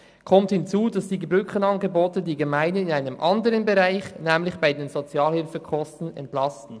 Hinzu kommt, dass die Brückenangebote die Gemeinden in einem anderen Bereich, nämlich bei den Sozialhilfekosten, entlasten.